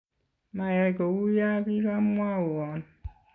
mayai kou ya kokimwowon